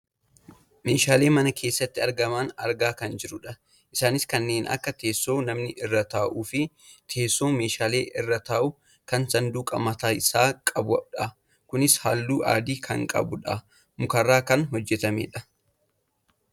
Meeshaalee mana keessatti argaman argaa kan jirrudha. Isaanis kanneen akka teessoo namni irra taa'uufi teessoo meeshaan irra taa'u kan saanduqa mataa isaa qabudha. Kunis halluu adii kan qabuudha. Mukarraa kan hojjatamudha.